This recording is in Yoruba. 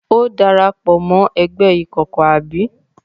Ó dara pọ̀ mọ́ ẹgbẹ́ ìkọ̀kọ̀, abi?